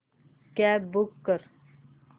cab book कर